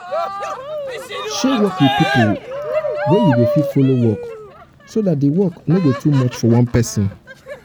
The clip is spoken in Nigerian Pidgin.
share work with pipo wey you fit follow work so dat di work no go too much for one person